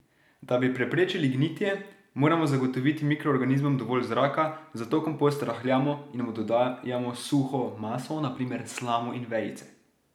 Da bi preprečili gnitje, moramo zagotoviti mikroorganizmom dovolj zraka, zato kompost rahljamo in mu dodajamo suho maso, na primer slamo in vejice.